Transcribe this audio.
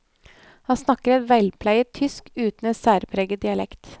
Han snakker et velpleiet tysk uten en særpreget dialekt.